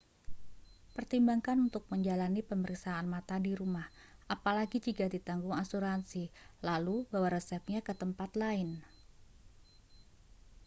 pertimbangkan untuk menjalani pemeriksaan mata di rumah apalagi jika ditanggung asuransi lalu bawa resepnya ke tempat lain